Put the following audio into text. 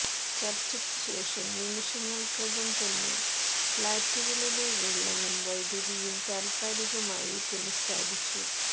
ചര്ച്ചയ്ക്കു ശേഷം നിമിഷങ്ങള്ക്കകം തന്നെ ഫ്ളാറ്റുകളിലെ വെള്ളവും വൈദ്യുതിയും താത്കാലികമായി പുനഃസ്ഥാപിച്ചു